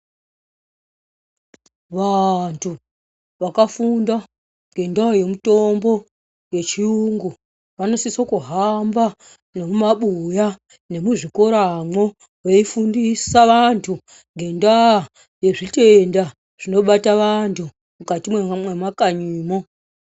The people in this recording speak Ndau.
Vantu vakafunda ngenyaya yemutombo yechiyungu vanosise kuhamba nemumabhuya nemuzvikoramwo veifundisa vantu ngendaa yezvitenda zvinobata vantu mukati mwemakanyimwo.